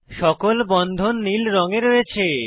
সকল বন্ধন নীল রঙে রয়েছে